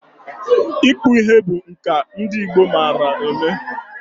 Ịkpụ ihe bụ nka ndị Igbo mara eme.